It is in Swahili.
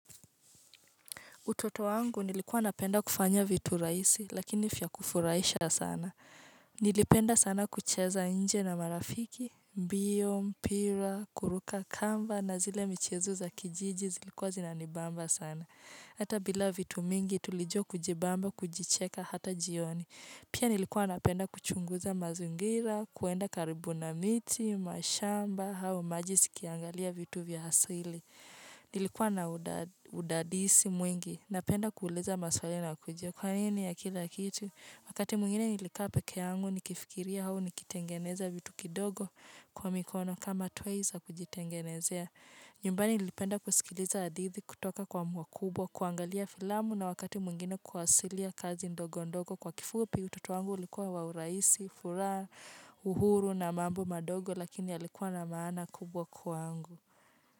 Utoto wangu nilikuwa napenda kufanya vitu rahisi, lakini vya kufurahisha sana. Nilipenda sana kucheza nje na marafiki, mbio, mpira, kuruka kamba, na zile michezo za kijiji zilikuwa zinanibamba sana. Hata bila vitu mingi tulijua kujibamba, kujicheka, hata jioni. Pia nilikuwa napenda kuchunguza mazingira, kwenda karibu na miti, mashamba, au maji zikiangalia vitu vya asili. Nilikuwa na udadisi mwingi Napenda kuuliza maswali na kujua Kwa nini ya kila kitu Wakati mwngine nilikaa pekee yangu Nikifikiria au nikitengeneza vitu kidogo Kwa mikono kama toys za kujitengenezea nyumbani nilipenda kusikiliza hadithi kutoka kwa wakubwa kuangalia filamu na wakati mwingine Kuwasilia kazi ndogo ndogo Kwa kifupi utoto wangu ulikuwa wa uraisi furaha uhuru na mambo madogo Lakini yalikuwa na maana kubwa kwangu.